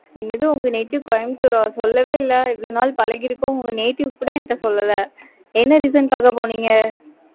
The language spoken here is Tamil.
என்னது, உங்க native, கோயம்புத்தூரா? சொல்லவே இல்லை. இவ்வளவு நாள் பழகி இருக்கோம். உங்க native கூட, என்கிட்ட சொல்லலை. என்ன reason க்காகபோனீங்க?